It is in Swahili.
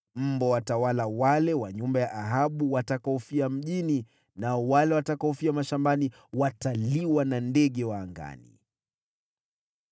“Mbwa watawala wale wa nyumba ya Ahabu watakaofia mjini, nao wale watakaofia mashambani wataliwa na ndege wa angani.”